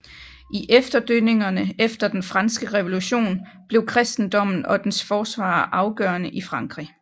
I efterdønningerne efter den franske revolution blev kristendommen og dens forsvarere afgørende i Frankrig